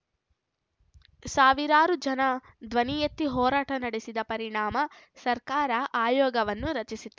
ಸಾವಿರಾರು ಜನ ಧ್ವನಿ ಎತ್ತಿ ಹೋರಾಟ ನಡೆಸಿದ್ದ ಪರಿಣಾಮ ಸರ್ಕಾರ ಆಯೋಗವನ್ನು ರಚಿಸಿತ್ತು